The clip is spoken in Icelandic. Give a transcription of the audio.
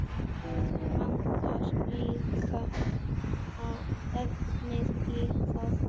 Vantar líka efnið í það.